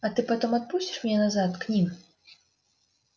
а ты потом отпустишь меня назад к ним